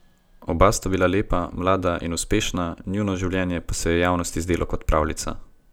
Oba sta bila lepa, mlada in uspešna, njuno življenje pa se je javnosti zdelo kot pravljica.